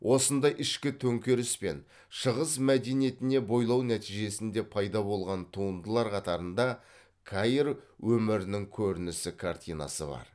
осындай ішкі төңкеріс пен шығыс мәдениетіне бойлау нәтижесінде пайда болған туындылар қатарында каир өмірінің көрінісі картинасы бар